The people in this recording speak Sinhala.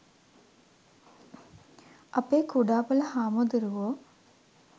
අපේ කුඩාපොළ හාමුදුරුවෝ